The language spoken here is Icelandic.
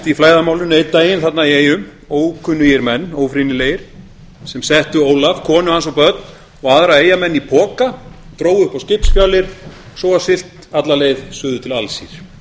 í flæðarmálinu einn daginn þarna í eyjum ókunnugir menn ófrýnilegir sem settu ólaf konu hans og börn og aðra eyjamenn í poka drógu upp á skipsfjalir og svo var siglt alla leið suður til alsír